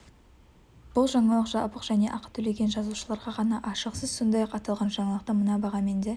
бұл жаңалық жабық және ақы төлеген жазылушыларға ғана ашық сіз сондай-ақ аталған жаңалықты мына бағамен де